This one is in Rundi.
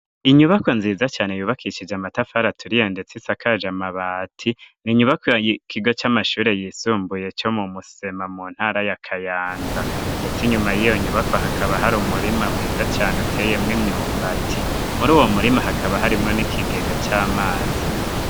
Inyubako nziza cane yubakishije amatafari aturiye ndetse isakaje amabati n'inyubako ikigo c'amashuri yisumbuye co mu Musema mu ntara ya Kayanza ndetse inyuma yiyo nyubako hakaba hari umurima mwiza cane uteye mw'imyumbati muri uwo murima hakaba harimwo n'ikigega c'amazi.